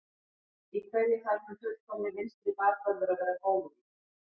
Í hverju þarf hinn fullkomni vinstri bakvörður að vera góður í?